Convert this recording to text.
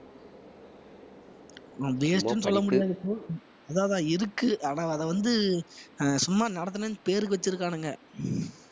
அது waste னு சொல்லமுடியாது bro அதான் அதான் இருக்கு ஆனா அத வந்து ஆஹ் சும்மா நடத்துனேன்னு பேருக்கு வச்சிருக்கானுங்க